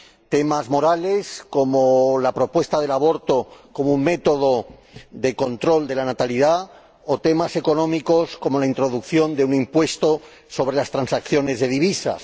Temas morales, como la propuesta del aborto como un método de control de la natalidad, o temas económicos, como la introducción de un impuesto sobre las transacciones de divisas.